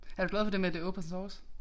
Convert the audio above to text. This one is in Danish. Er du glad for det med at det Open source